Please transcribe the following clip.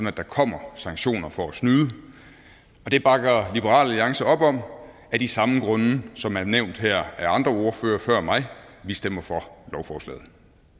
at der kommer sanktioner for at snyde det bakker liberal alliance op om af de samme grunde som er nævnt her af andre ordførere før mig vi stemmer for lovforslaget